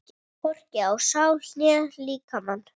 Hvorki á sál né líkama.